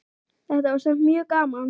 Þetta var samt mjög gaman.